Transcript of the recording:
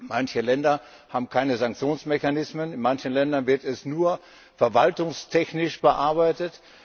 Manche Länder haben keine Sanktionsmechanismen, in manchen Ländern werden sie nur verwaltungstechnisch bearbeitet.